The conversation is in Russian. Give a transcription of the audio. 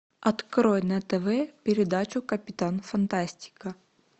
открой на тв передачу капитан фантастика